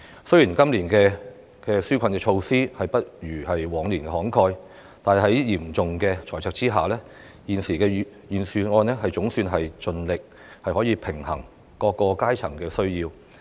雖然今年的紓困措施不如往年慷慨，但在嚴重的財赤下，現時預算案總算盡力平衡各階層的需要。